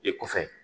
E kɔfɛ